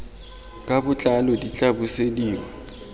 ka botlalo di tla busediwa